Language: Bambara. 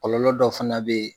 Kɔlɔlɔ dɔ fana be ye